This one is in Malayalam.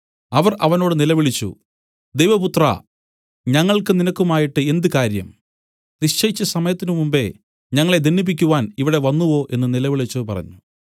അവർ അവനോട് നിലവിളിച്ചു ദൈവപുത്രാ ഞങ്ങൾക്ക് നിനക്കുമായിട്ട് എന്ത് കാര്യം നിശ്ചയിച്ച സമയത്തിനു മുമ്പെ ഞങ്ങളെ ദണ്ഡിപ്പിപ്പാൻ ഇവിടെ വന്നുവോ എന്നു നിലവിളിച്ച് പറഞ്ഞു